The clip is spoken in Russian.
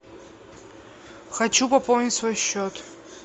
хочу пополнить свой счет